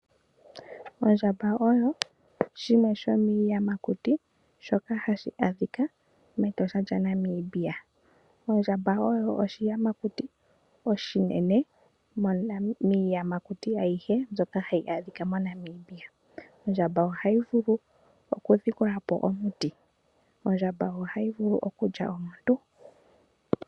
Ondjamba oyo shimwe shomiiyamakuti shoka hashi adhika mEtosha lyaNamibia. Ondjamba oyo oshiyamakuti oshinene miiyamakuti ayihe mbyoka hayi adhika moNamibia. Ondjamba ohayi vulu oku dhikulapo omuti. Ondjamba ohayi vulu okudhipaga omuntu.